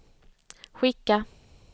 skicka